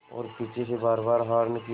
और पीछे से बारबार हार्न की